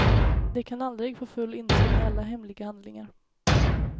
De kan aldrig få full insyn i alla hemliga handlingar.